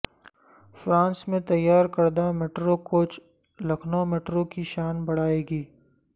France میں تیار کردہ میٹرو کوچ لکھنومیٹرو کی شان بڑھائیں گے